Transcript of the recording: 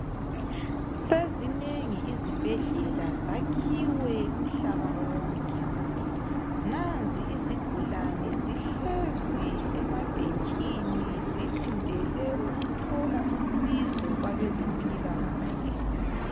Sezinengi izibhedlela zakhiwe umhlaba wonke nanzi izigulane zihlezi emabhentshini zilindele ukuthola usizo kwabezempila kahle.